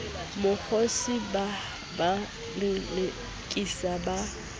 mokgosi ba ba lelekise ba